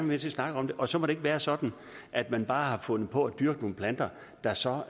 med til at snakke om det og så må det ikke være sådan at man bare har fundet på at dyrke nogle planter der så